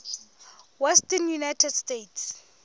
western united states